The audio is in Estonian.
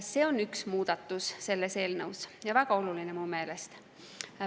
See on üks muudatus selles eelnõus, ja väga oluline mu meelest.